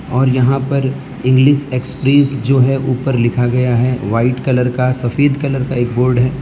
और यहां पर इंग्लिश एक्सप्रेस जो है ऊपर लिखा गया है वाइट कलर का सफेद कलर का एक बोर्ड है।